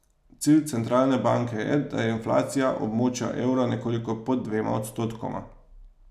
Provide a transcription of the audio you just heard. Cilj centralne banke je, da je inflacija območja evra nekoliko pod dvema odstotkoma.